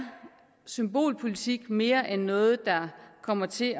symbolpolitik mere end noget der kommer til